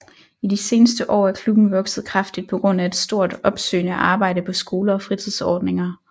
I de senere år er klubben vokset kraftigt på grund af et stort opsøgende arbejde på skoler og fritidsordninger